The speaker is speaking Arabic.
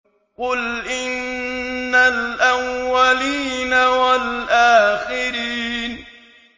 قُلْ إِنَّ الْأَوَّلِينَ وَالْآخِرِينَ